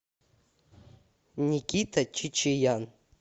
никита чичеян